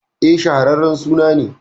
E, shaharren suna ne.